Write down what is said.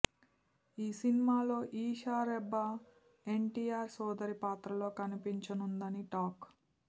ఈ సిన్మాలో ఈషా రెబ్బా ఎన్ టిఆర్ సోదరి పాత్రలో కనిపించనుందని టాక్